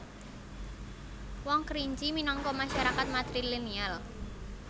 Wong Kerinci minangka masarakat matrilineal